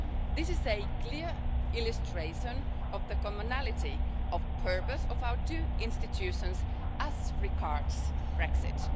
This is a clear illustration of the commonality of purpose of our two institutions as regards Brexit.